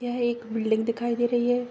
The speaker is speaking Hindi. यह एक बिल्डिंग दिखाई दे रही है।